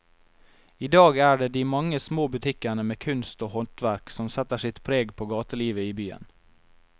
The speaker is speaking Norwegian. I dag er det de mange små butikkene med kunst og håndverk som setter sitt preg på gatelivet i byen.